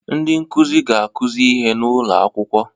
Ndị nkuzi ga-akụzi ihe n'ụlọ akwụkwọ